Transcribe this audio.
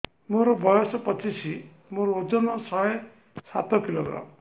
ମୋର ବୟସ ପଚିଶି ମୋର ଓଜନ ଶହେ ସାତ କିଲୋଗ୍ରାମ